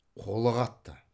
қолы қатты